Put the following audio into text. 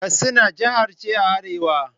Katsina jiha ce a arewa.